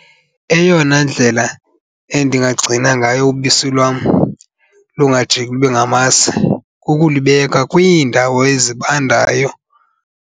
Eyona ndlela endinagcina ngayo ubisi lwam lungajiki lube ngamasi kukulibeka kwiindawo ezibandayo.